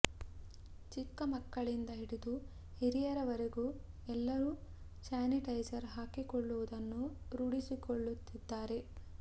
ಚಿಕ್ಕ ಮಕ್ಕಳಿಂದ ಹಿಡಿದು ಹಿರಿಯರ ವರೆಗೂ ಎಲ್ಲರೂ ಸ್ಯಾನಿಟೈಸರ್ ಹಾಕಿಕೊಳ್ಳುವುದನ್ನು ರೂಢಿಸಿಕೊಳ್ಳುತ್ತಿದ್ದಾರೆ